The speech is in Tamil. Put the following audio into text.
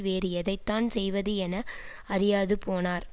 வேறு எதைத்தான் செய்வது என அறியாது போனார்